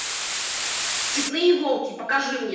степные волки покажи мне